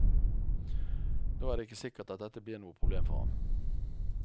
Nå er det ikke sikkert at dette blir noe problem for ham.